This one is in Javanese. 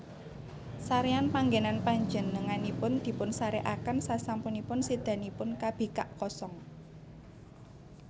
Saréyan panggènan Panjenenganipun dipunsarèkaken sasampunipun sédanipun kabikak kosong